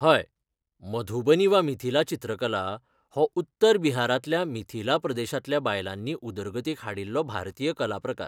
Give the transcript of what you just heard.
हय, मधुबनी वा मिथिला चित्रकला हो उत्तर बिहारांतल्या मिथिला प्रदेशांतल्या बायलांनी उदरगतीक हाडिल्लो भारतीय कलाप्रकार.